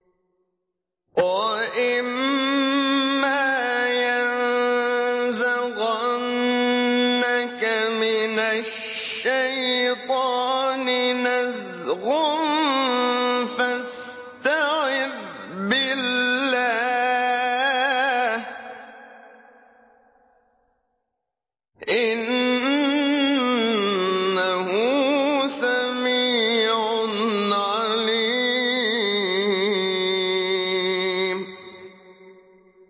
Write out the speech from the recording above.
وَإِمَّا يَنزَغَنَّكَ مِنَ الشَّيْطَانِ نَزْغٌ فَاسْتَعِذْ بِاللَّهِ ۚ إِنَّهُ سَمِيعٌ عَلِيمٌ